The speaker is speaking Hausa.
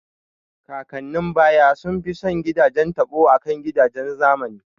Kakannin baya sun fiye son gidajen taɓo akan gidajen zamani